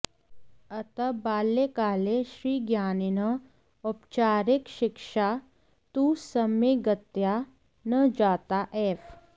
अतः बाल्यकाले श्रीज्ञानिनः औपचारिकशिक्षा तु सम्यग्तया न जाता एव